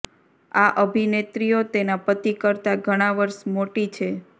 આ અભિનેત્રીઓ તેના પતિ કરતા ઘણા વર્ષ મોટી છે